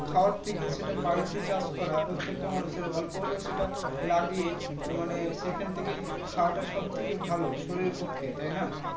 খাওয়ার থেকে সেটা বাড়িতে চাষ করা প্রত্যেকটা মানুষের অল্প হলে সেটা লাগিয়ে মানে সেখান থেকে খাওয়া টা সব থেকে ভালো শরীরের পক্ষে